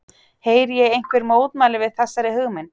Heyri ég einhver mótmæli við þessari hugmynd?